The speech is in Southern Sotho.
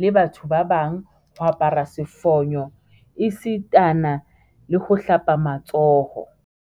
le batho ba bang, ho apara sefonyo esitana le ho hlapa matsoho.